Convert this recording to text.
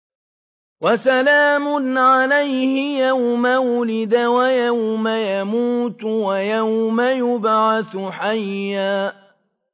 وَسَلَامٌ عَلَيْهِ يَوْمَ وُلِدَ وَيَوْمَ يَمُوتُ وَيَوْمَ يُبْعَثُ حَيًّا